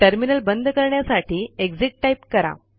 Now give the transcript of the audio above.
terminal बंद करण्यासाठी exit type करा